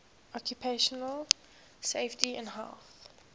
occupational safety and health